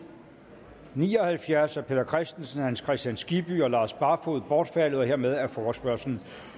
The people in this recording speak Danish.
ni og halvfjerds af peter christensen hans kristian skibby og lars barfoed bortfaldet hermed er forespørgslen